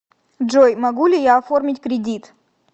джой могу ли я оформить кредит